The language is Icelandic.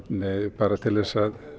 bara til þess að